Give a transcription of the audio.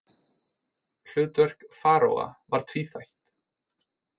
Hlutverk faraóa var tvíþætt.